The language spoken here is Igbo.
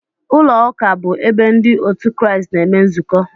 Ụlọụka bụ ebe ndị otu Kraịst na-eme nzukọ